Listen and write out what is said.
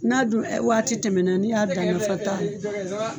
N'a dun waati tɛmɛna n'i y'a dan nafa t'a la.